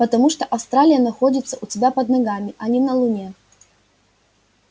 потому что австралия находится у тебя под ногами а не на луне